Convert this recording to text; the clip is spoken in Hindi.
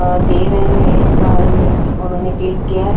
अ दे रहे है एसा ये उन्होंने क्लिक किया है ।